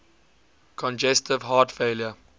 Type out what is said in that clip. congestive heart failure